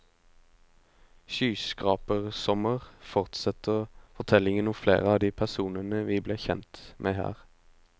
Skyskrapersommer fortsetter fortellingen om flere av de personene vi ble kjent med her.